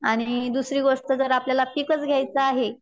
आणि दुसरी गोष्ट जर आपल्याला पिकच घ्यायचं आहे.